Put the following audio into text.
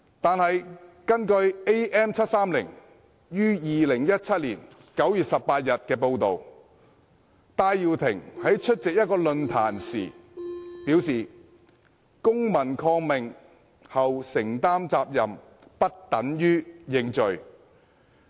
但是，根據《am730》於2017年9月18日的報道，戴耀廷在出席一個論壇時表示"公民抗命後承擔責任，不等於要認罪"。